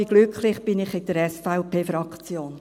Ich bin glücklich, bin ich in der SVP-Fraktion.